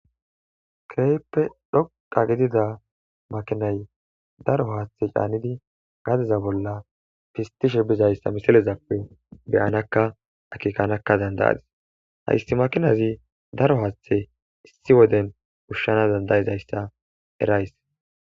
Kehippe dhoqqa gidida makinayi daro haththe cannidi gadeza bolla pisitishshe bizayissa missilezappe be'annakka akekanakka danida'adis .hayissi makinazzi daro haththe issi wodenni ushshana danida'izayissa erayis.